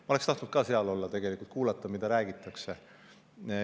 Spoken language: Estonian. Ma oleksin tegelikult tahtnud seal olla, kuulata, mida räägitakse.